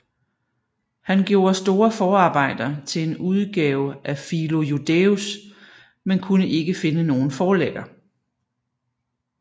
Han gjorde store forarbejder til en udgave af Philo Judæus men kunde ikke finde nogen forlægger